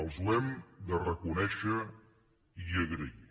els ho hem de reconèixer i agrair